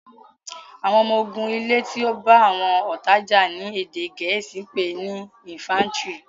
àwọn ọmọ ogun ilè tí o bá àwọn ọta já ní èdè gèésì pé ní "infantry".